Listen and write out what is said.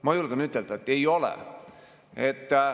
Mina julgen ütelda, et ei ole.